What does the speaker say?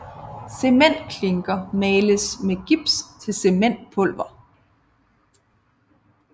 Cementklinker males med gips til cementpulver